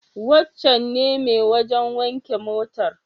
Wancen ne mai wajen wanke motar?